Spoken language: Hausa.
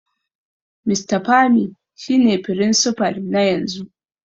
Mr Pami shine Firinsifal na yanzu.